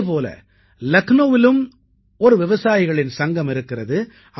இதே போல லக்னௌவிலும் ஒரு விவசாயிகளின் சங்கம் இருக்கிறது